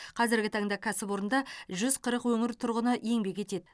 қазіргі таңда кәсіпорында жүз қырық өңір тұрғыны еңбек етеді